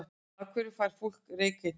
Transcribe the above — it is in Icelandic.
Af hverju fær fólk reykeitrun?